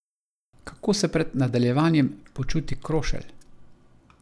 Kako se pred nadaljevanjem počuti Krošelj?